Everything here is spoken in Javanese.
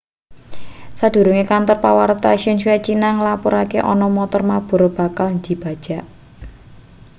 sadurunge kantor pawarta xinhua cina nglapurake ana montor mabur bakal dibajag